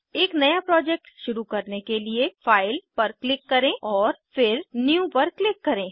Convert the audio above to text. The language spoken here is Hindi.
एक नया प्रोजेक्ट शुरू करने के लिए फाइल फाइल पर क्लिक करें और फिर न्यू न्यू पर क्लिक करें